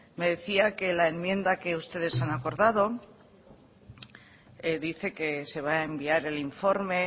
me decía que la enmienda que ustedes han acordado dice que se va a enviar el informe